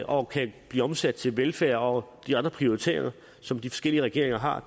og kan blive omsat til velfærd og de andre prioriteringer som de forskellige regeringer har